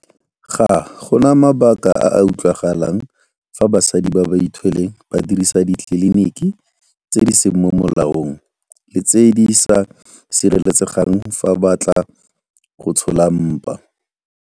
Ga go na mabaka a a utlwagalang fa basadi ba ba ithweleng ba dirisa ditleliniki tse di seng mo molaong le tse di sa sireletsegang fa ba batla go tsholola mpa.